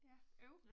Ja øv